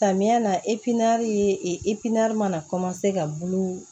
Samiya na ye mana ka bulu